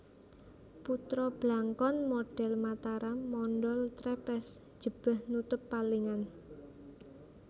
Putra Blangkon modhel Mataram mondhol trepes jebeh nutup talingan